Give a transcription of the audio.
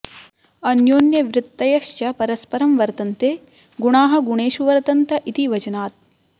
अन्योन्यवृत्तयश्च परस्परं वर्त्तन्ते गुणाः गुणेषु वर्त्तन्त इति वचनात्